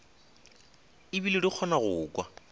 ebile di kgona go kwa